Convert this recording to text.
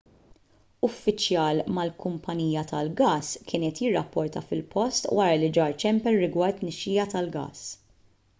uffiċjal mal-kumpanija tal-gass kien qed jirrapporta fil-post wara li ġar ċempel rigward tnixxija tal-gass